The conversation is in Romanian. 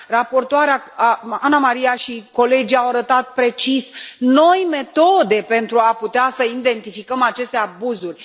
Raportoarea, Anna Maria, și colegii au arătat precis noi metode pentru a putea să identificăm aceste abuzuri.